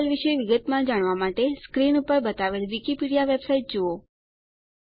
DDL વિશે વિગતમાં જાણવાં માટે સ્ક્રીન પર બતાવેલ વીકીપીડીયા વેબસાઈટ જુઓ